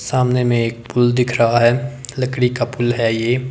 सामने में एक पुल दिख रहा है लकड़ी का पुल है ये--